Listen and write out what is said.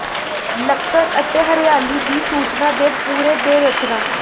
ਲੱਕੜ ਅਤੇ ਹਰਿਆਲੀ ਦੀ ਸੂਚਨਾ ਦੇ ਪੂਰੇ ਦੇ ਰਚਨਾ